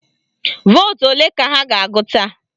Vootu ole ka ha ga-agụta?